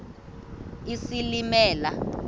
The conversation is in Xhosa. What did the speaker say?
isilimela